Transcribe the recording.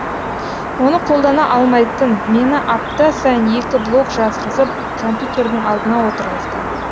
оны қолдана алмайтын мені апта сайын екі блог жазғызып компьютердің алдына отырғызды